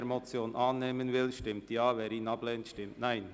Wer diese annehmen will, stimmt Ja, wer diese ablehnt, stimmt Nein.